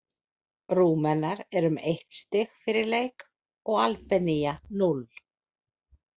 Rúmenar eru með eitt stig fyrir leik og Albanía núll.